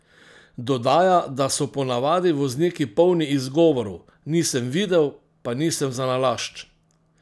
Dodaja, da so po navadi vozniki polni izgovorov: "Nisem videl, pa nisem zanalašč.